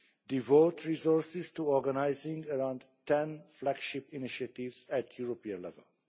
devote resources to organising around 10 flagship initiatives at European level